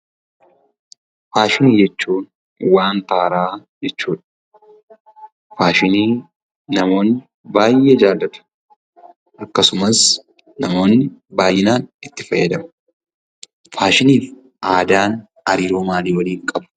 Faashinii jechuun waanta haaraa jechuudha. Faashinii namoonni baay'ee jaallatu akkasumas namoonni baayyinaan itti fayyadamu . Faashiniif aadaan hariiroo maalii waliin qabu?